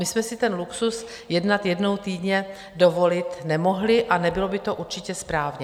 My jsme si ten luxus jednat jednou týdně dovolit nemohli a nebylo by to určitě správně.